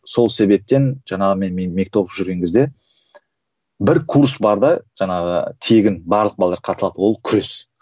сол себептен жаңағы мен мектеп оқып жүрген кезде бір курс бар да жаңағы тегін барлық балалар қатыса алды ол күрес